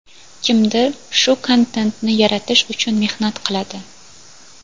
Kimdir shu kontentni yaratish uchun mehnat qiladi.